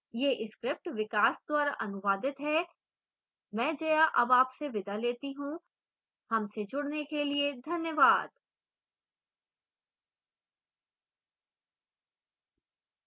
यह script विकास द्वारा अनुवादित है मैं जया अब आपसे विदा लेती हूँ